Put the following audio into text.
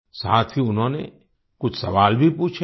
साथ ही उन्होनें कुछ सवाल भी पूछे हैं